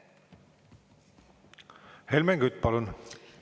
Helmen Kütt, palun!